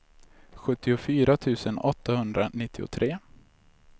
sjuttiofyra tusen åttahundranittiotre